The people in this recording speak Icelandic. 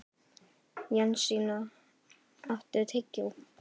Jensína, áttu tyggjó?